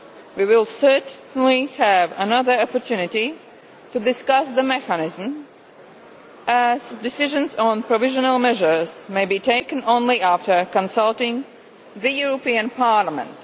We will certainly have another opportunity to discuss the mechanism as decisions on provisional measures may be taken only after consulting Parliament.